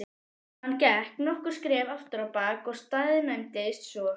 Hann gekk nokkur skref afturábak og staðnæmdist svo.